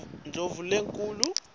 indlovulenkhulu